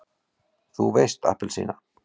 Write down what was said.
þú veist APPELSÍNA!